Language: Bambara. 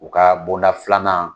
U ka bonda filanan